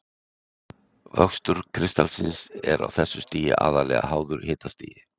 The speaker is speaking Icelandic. Vöxtur kristallsins er á þessu stigi aðallega háður hitastigi.